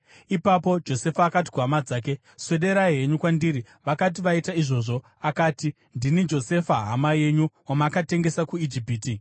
Ipapo Josefa akati kuhama dzake, “Swederai henyu kwandiri.” Vakati vaita izvozvo, akati, “Ndini Josefa hama yenyu, wamakatengesa kuIjipiti!